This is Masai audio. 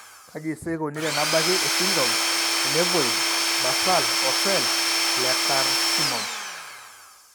Kaji sa eikoni tenebaki esindirom eNevoid basal ocell lecarcinom?